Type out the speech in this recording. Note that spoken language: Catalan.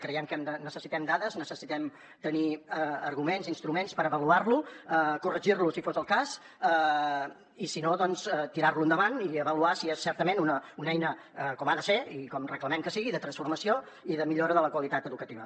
creiem que necessitem dades necessitem tenir arguments instruments per avaluar lo corregir lo si fos el cas i si no doncs tirar lo endavant i avaluar si és certament una eina com ha de ser i com reclamem que sigui de transformació i de millora de la qualitat educativa